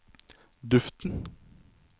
duften